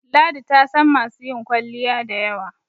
ladi tasan masu yin kwalliya da yawa